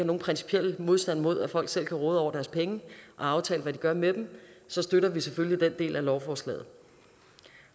nogen principiel modstand mod at folk selv kan råde over deres penge og aftale hvad de gør med dem så støtter vi selvfølgelig den del af lovforslaget